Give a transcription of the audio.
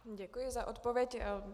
Děkuji za odpověď.